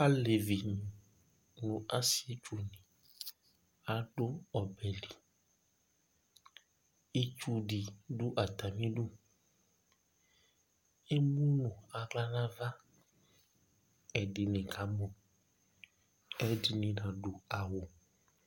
Alevi nʋ asietsu adu ɔbɛ li Itsu si du atami ɩdʋ Emu nʋ aɣla nʋ ava Ɛdɩnɩ kamɔ, ɛdɩnɩ kadu awu